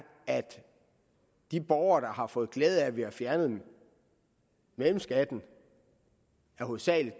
at de borgere der har fået glæde af at vi har fjernet mellemskatten hovedsagelig